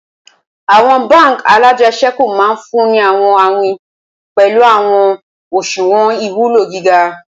Awọn bánk alájẹsẹ́kù maà funni awọn awin pẹlu awọn oṣuwọn iwulo giga.